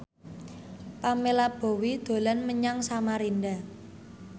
Pamela Bowie dolan menyang Samarinda